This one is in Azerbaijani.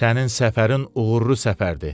Sənin səfərin uğurlu səfərdir.